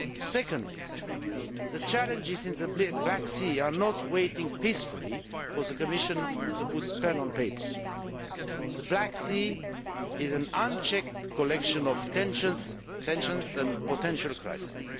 Secondly, the challenges in the Black Sea are not waiting peacefully for the Commission to put pen to paper. The Black Sea is an unchecked collection of tensions and potential crises.